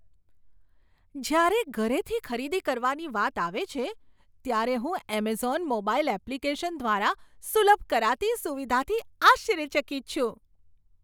જ્યારે ઘરેથી ખરીદી કરવાની વાત આવે છે ત્યારે હું એમેઝોન મોબાઇલ એપ્લિકેશન દ્વારા સુલભ કરાતી સુવિધાથી આશ્ચર્યચકિત છું.